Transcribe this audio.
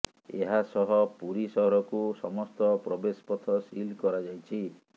ଏହାସହ ପୁରୀ ସହରକୁ ସମସ୍ତ ପ୍ରବେଶ ପଥ ସିଲ୍ କରାଯାଇଛି